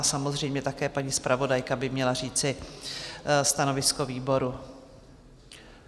A samozřejmě také paní zpravodajka by měla říci stanovisko výboru.